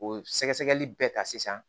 O sɛgɛsɛgɛli bɛɛ ka sisan